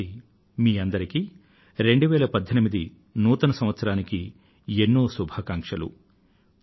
మరో సారి మీ అందరికీ 2018 నూతన సంవత్సరానికి ఎన్నో శుభాకాంక్షలు